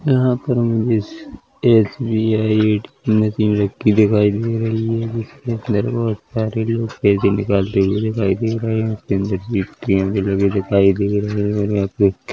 यहाँ पर हमें एस_बी_आई ए_टी_एम मशीन रखी दिखाई दे रही है जिसके अंदर बहुत सारे लोग पैसे निकालते हुए दिखाई दे रहें हैं इसके अंदर भी लगी दिखाई दे रही है और यहाँ पर--